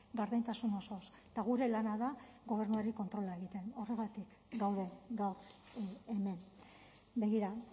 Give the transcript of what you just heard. gardentasun osoz eta gure lana da gobernuari kontrola egitea horregatik gaude gaur hemen begira